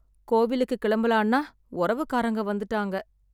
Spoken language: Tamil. கோவிலுக்கு கிளம்பலான்னா உறவுக்கரங்க வந்துட்டாங்க.